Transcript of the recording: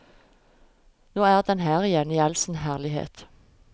Nå er den her igjen i all sin herlighet.